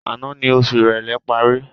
Àná ni oṣù ìrèlé parí